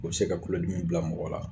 U bɛ se ka kulodimi bila mɔgɔ la